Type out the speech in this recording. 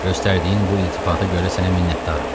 Göstərdiyin bu iltifata görə sənə minnətdaram.